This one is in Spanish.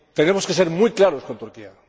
Tenemos que ser muy claros con Turquía.